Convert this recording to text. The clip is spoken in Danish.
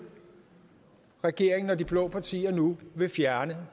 regeringen og de blå partier nu vil fjerne